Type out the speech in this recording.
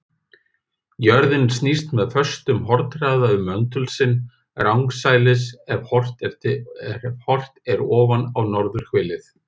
Jörðin snýst með föstum hornhraða um möndul sinn, rangsælis ef horft er ofan á norðurhvelið.